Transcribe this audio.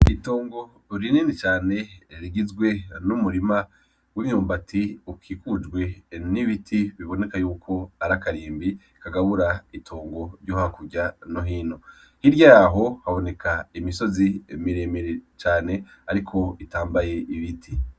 itongo rinini cane rigizwe n'umurima w'imyumbati ukikujwe n'ibiti biboneka yuko arakarimbi kagabura itongo ryohakurya no hino, hirya yaho haboneka imisozi miremire cane ariko itambaye ibiti.